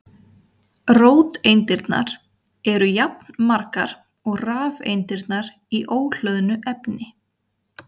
Róteindirnar eru jafnmargar og rafeindirnar í óhlöðnu efni.